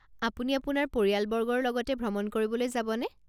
আপুনি আপোনাৰ পৰিয়ালবৰ্গৰ লগতে ভ্ৰমণ কৰিবলৈ যাবনে?